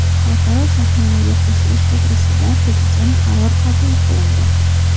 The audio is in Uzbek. Xalqaro shartnomaga qo‘shilish to‘g‘risidagi Prezident qarori qabul qilindi.